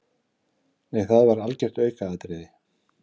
Nei það var algjört aukaatriði.